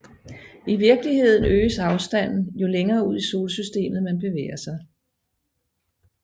I virkeligheden øges afstanden jo længere ud i Solsystemet man bevæger sig